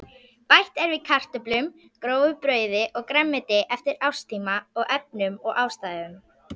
Bætt er við kartöflum, grófu brauði og grænmeti eftir árstíma og efnum og ástæðum.